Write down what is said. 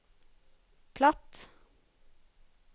platt